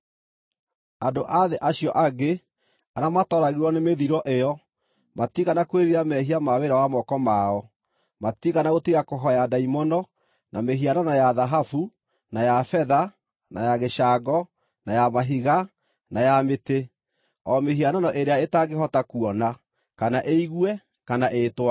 Andũ a thĩ acio angĩ, arĩa matooragirwo nĩ mĩthiro ĩyo, matiigana kwĩrira mehia ma wĩra wa moko mao; matiigana gũtiga kũhooya ndaimono, na mĩhianano ya thahabu, na ya betha, na ya gĩcango, na ya mahiga, na ya mĩtĩ, o mĩhianano ĩrĩa ĩtangĩhota kuona, kana ĩigue, kana ĩĩtware.